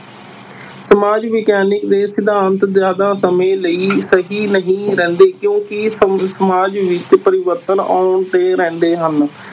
ਸਮਾਜ ਵਿਗਿਆਨਕ ਦੇ ਸਿਧਾਂਤ ਜ਼ਿਆਦਾ ਸਮੇਂ ਲਈ ਸਹੀ ਨਹੀਂ ਰਹਿੰਦੇ ਕਿਉਂਕਿ ਸਮ~ ਸਮਾਜ ਵਿੱਚ ਪਰਿਵਰਤਨ ਆਉਂਦੇ ਰਹਿੰਦੇ ਹਨ।